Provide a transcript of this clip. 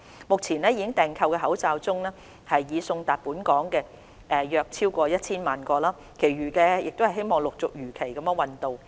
目前已訂購的口罩中，已送達本港的約超過 1,000 萬個，其餘的希望陸續如期運到。